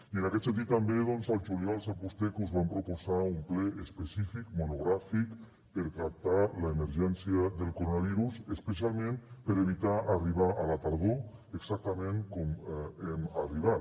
i en aquest sentit també doncs el juliol sap vostè que us vam proposar un ple específic monogràfic per tractar l’emergència del coronavirus especialment per evitar arribar a la tardor exactament com hem arribat